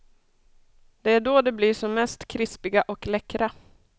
Det är då de blir som mest krispiga och läckra.